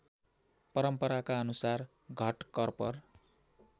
परम्पराका अनुसार घटकर्पर